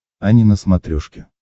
ани на смотрешке